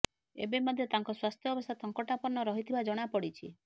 ଏବେ ମଧ୍ୟ ତାଙ୍କ ସ୍ୱାସ୍ଥ୍ୟ ଅବସ୍ଥା ସଙ୍କଟାପନ୍ନ ରହିଥିବା ଜଣାପଡ଼ିଛି